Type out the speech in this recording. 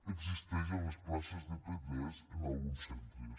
existeix en les places de p3 en alguns centres